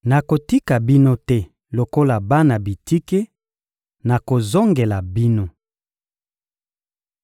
Nakotika bino te lokola bana bitike; nakozongela bino.